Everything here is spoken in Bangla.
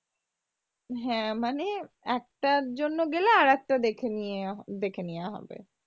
হ্যাঁ মানে একটার জন্য গেলে আরেকটা দেখে নিয়া দেখে নিয়া হবে।